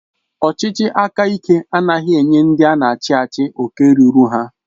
Ọchịchị aka ike anaghị enye ndị ana achị achị oke rụrụ ha.